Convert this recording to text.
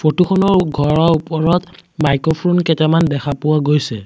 Photo খনৰ ঘৰৰ ওপৰত মাইক্ৰফ্ৰোন কেইটামান দেখা পোৱা গৈছে।